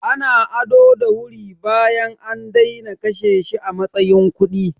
Ana ado da wuri bayan an daina kashe shi a matsayin kuɗi.